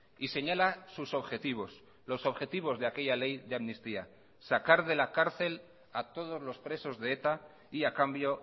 y señala sus objetivos los objetivos de aquella ley de amnistía sacar de la cárcel a todos los presos de eta y a cambio